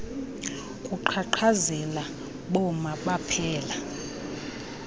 kuqhaqhazela boma baphela